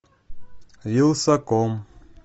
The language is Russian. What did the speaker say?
вилсаком